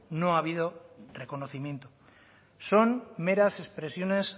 no ha habido reconocimiento son meras expresiones